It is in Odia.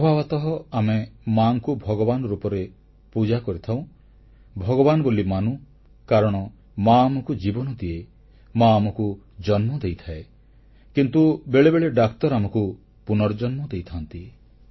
ସ୍ୱଭାବତଃ ଆମେ ମାଙ୍କୁ ଭଗବାନ ରୂପରେ ପୂଜା କରିଥାଉଁ ଭଗବାନ ବୋଲି ମାନୁ କାରଣ ମା ଆମକୁ ଜୀବନ ଦିଏ ମା ଆମକୁ ଜନ୍ମ ଦେଇଥାଏ କିନ୍ତୁ ବେଳେବେଳେ ଡାକ୍ତର ଆମକୁ ପୁନର୍ଜନ୍ମ ଦେଇଥାନ୍ତି